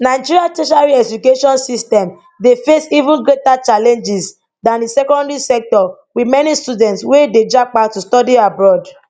nigeria tertiary education system dey face even greater challenges dan di secondary sector with many students wey dey japa to study abroad